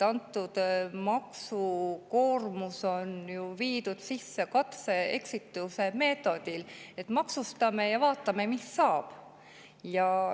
See maksukoormus on ju sisse viidud katse-eksituse meetodil: maksustame ja vaatame, mis saab.